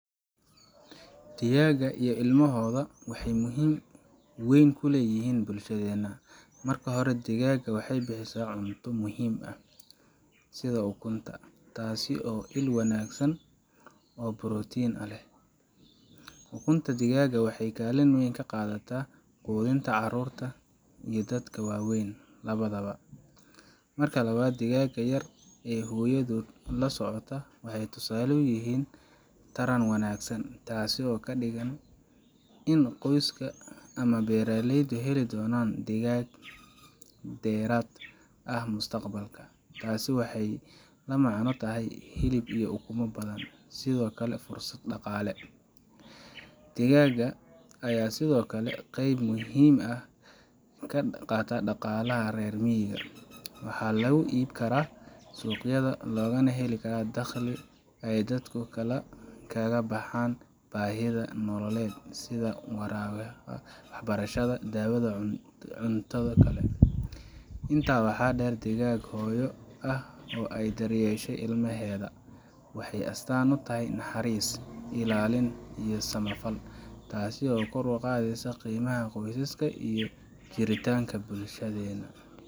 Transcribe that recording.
Digaaga iyo ilmahotha, waxay muhim weyn ulayahin bulshada, marka hori degaga waxaybixisah cunta muhim aah setha ugunta taasi il wanagsan oo broteena leeh ukunta degaga waxay kalin muhim kaqathataa quthintabcarurta iyo dadka waweyn lawatha bo . Marka lawat digaga yaravee hooyathot u socotah waxay tusalo u yahin Taran wanagsan setho kadigani in qoyska amah beraleyda helo donanan degaga beerta aah mustaqbalka taasi waxay lamacna tahay helib iyo uguma bathan sethakali fursad daqale degaga Aya sethokali qeeb muhim aah , marka rermega waxa lagu eebkarah suqyatha lokanah heli karah daqhali ay dadku kaga baxaan ayada nolalaet setha waxbarashada dawatha cuntatha, intaasi waxader degago hooyo aah oo AR dar dar kaheshay imlahetha waxay astaan u tahay naxaris ilalin iyo samafaal taaso oo kor uqatheysoh qeemaha qoysaska iyo jiritanga bulshatheyna.